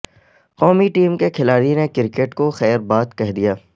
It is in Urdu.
قومی ٹیم کے کھلاڑی نے کرکٹ کو خیر باد کہہ دیا